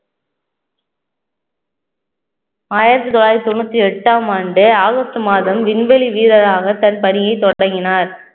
ஆயிரத்தி தொள்ளாயிரத்தி தொண்ணூத்தி எட்டாம் ஆண்டு ஆகஸ்ட் மாதம் விண்வெளி வீரராக தன் பணியை தொடங்கினார்